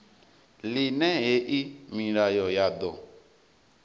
ḽine hei milayo ya ḓo